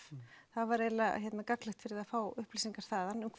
það væri eiginlega gagnlegt fyrir þig að fá upplýsingar þaðan um